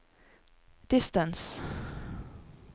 distance